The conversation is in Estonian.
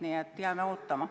Nii et jääme ootama.